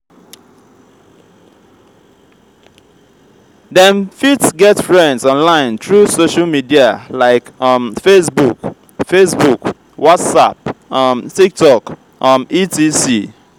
dem fit get friends online through social media like um fabebook fabebook what'sapp um tiktok um etc.